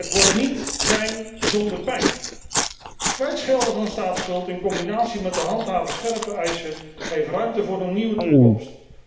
Het wordt niet fijn zonder pijn. Kwijtschelden van staatsschuld in combinatie met te handhaven scherpe eisen geven ruimte voor een nieuwe toekomst.